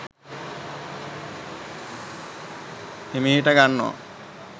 හිමිහිට ගන්නවා